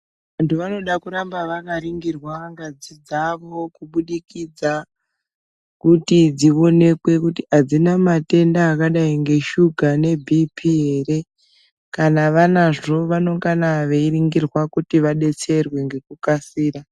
Vantu vanoda kuramba vakaningirwa ngazi dzavo kubudikudza kuti dzionekwe kuti adzina matenda akadai ngeshuga nebhipiii ere kana vanazvo vanongana kuti vadetserwe ngekukasira.